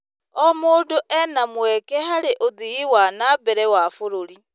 O mũndũ ena mweke harĩ ũthii wa na mbere wa bũrũri.